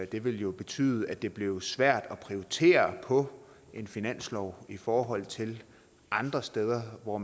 det vil jo betyde at det bliver svært at prioritere på finansloven i forhold til andre steder hvor